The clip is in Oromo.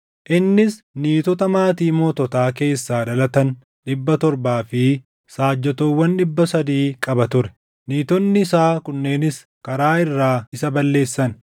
Innis niitota maatii moototaa keessaa dhalatan dhibba torbaa fi saajjatoowwan dhibba sadii qaba ture; niitonni isaa kunneenis karaa irraa isa balleessan.